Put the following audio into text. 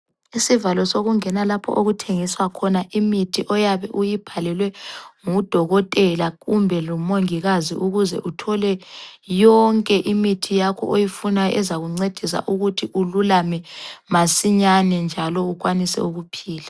Isivalo sokungena lapho okuthengiswa khona imithi oyabe uyibhalelwe ngudokotela kumbe lomongikazi, ukuze uthole yonke imithi yakho oyifunayo ezakuncedisa ukuthi ululame masinyane njalo ukwanise ukuphila.